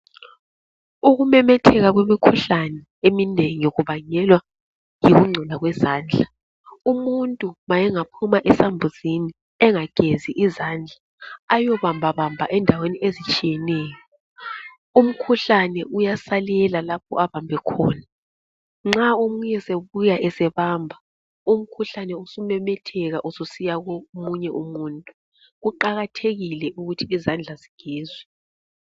Ukumemetheka kwemikhuhlane eminengi kubangelwa yikungcola kwezandla. Umuntu nxa engaphuma esambuzini engagezi izandla eyebambabamba endaweni ezitshiyeneyo umkhuhlane uyasalela lapho abambe khona. Nxa omunye esebuya ebamba, umkhuhlane sumemetheka usiya komunye umuntu. Kuqakathekile ukuthi izandla zigezwe.